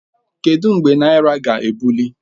Kedụ mgbe naira ga-ebuli?